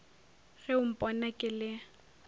ge o mpona ke le